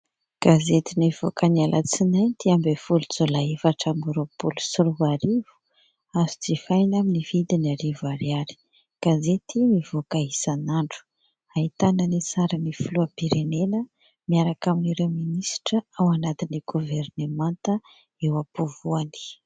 Gazety nivoaka ny Alatsinainy dimy ambin'ny folo Jolay efatra amby roapolo sy roa arivo, azo jifaina amin'ny vidiny arivo ariary. Gazety mivoaka isan'andro ahitana ny sarin'ny filohampirenena miaraka amin'ireo minisitra ao anatin'ny governemanta eo am-povoany.